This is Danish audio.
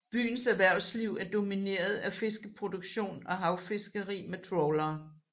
Byens erhvervsliv er domineret af fiskeproduktion og havfiskeri med trawlere